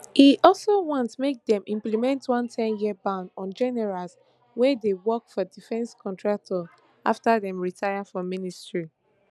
e also want make dem implement one ten year ban on generals wey dey work for defence contractors afta dem retire from military